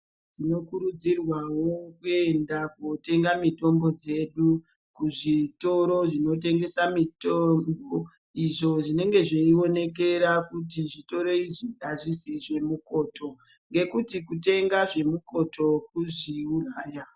Tinokurudzirwawo kuenda kundotenga mitombo dzedu kuzvitoro zvinotengesa mitombo izvo zvinenge zveionekera kuti zvitoro izvi hazvisi zvemukoto ngekuti kutenga zvemukoto kuzviuraya .